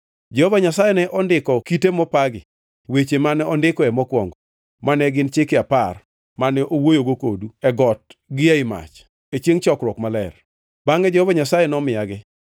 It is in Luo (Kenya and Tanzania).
Jehova Nyasaye ne ondiko e kite mopagi weche mane ondikoe mokwongo, mane gin Chike Apar, mane owuoyogo kodu e got gi ei mach, e chiengʼ chokruok maler. Bangʼe Jehova Nyasaye nomiyagi.